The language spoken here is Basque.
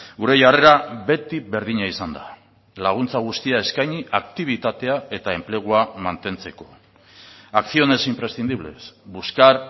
gure jarrera beti berdina izan da laguntza guztia eskaini aktibitatea eta enplegua mantentzeko acciones imprescindibles buscar